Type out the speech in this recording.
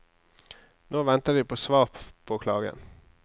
Nå venter de på svar på klagen.